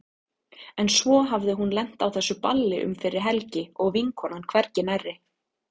En svo hafði hún lent á þessu balli um fyrri helgi og vinkonan hvergi nærri.